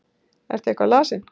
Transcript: Ertu eitthvað lasinn?